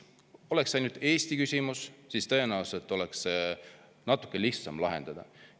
Oleks see ainult Eesti küsimus, siis tõenäoliselt oleks seda natuke lihtsam lahendada.